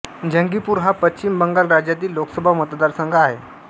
जंगीपूर हा पश्चिम बंगाल राज्यातील लोकसभा मतदारसंघ आहे